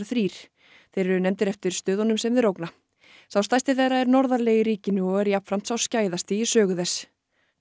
þrír þeir eru nefndir eftir stöðunum sem þeir ógna sá stærsti þeirra er norðarlega í ríkinu og er jafnframt sá í sögu þess